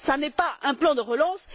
Cela n'est pas un plan de relance.